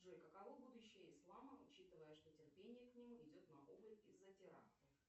джой каково будущее ислама учитывая что терпение к нему идет на убыль из за терактов